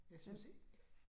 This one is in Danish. Jeg synes ikke